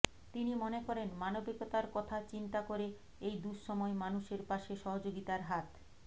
তিনি মনে করেন মানবিকতার কথা চিন্তা করে এই দুঃসময় মানুষের পাশে সহযোগিতার হাত